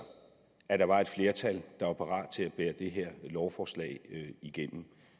at der var et flertal der var parat til at bære det her lovforslag igennem